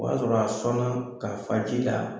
O y'a sɔrɔ a sɔnna k'a fa ji la